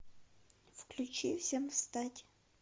включи всем встать